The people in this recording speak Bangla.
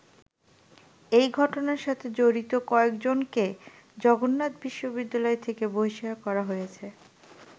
এই ঘটনার সাথে জড়িত কয়েকজনকে জগন্নাথ বিশ্ববিদ্যালয় থেকে বহিষ্কার করা হয়েছে।